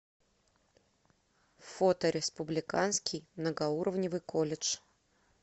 фото республиканский многоуровневый колледж